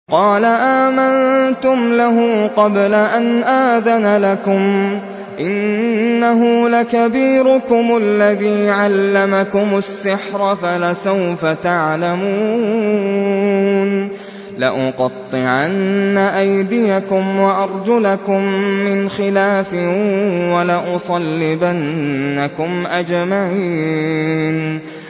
قَالَ آمَنتُمْ لَهُ قَبْلَ أَنْ آذَنَ لَكُمْ ۖ إِنَّهُ لَكَبِيرُكُمُ الَّذِي عَلَّمَكُمُ السِّحْرَ فَلَسَوْفَ تَعْلَمُونَ ۚ لَأُقَطِّعَنَّ أَيْدِيَكُمْ وَأَرْجُلَكُم مِّنْ خِلَافٍ وَلَأُصَلِّبَنَّكُمْ أَجْمَعِينَ